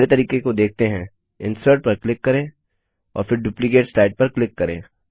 पहले तरीके को देखते हैं Insert पर क्लिक करें और फिर डुप्लिकेट स्लाइड पर क्लिक करें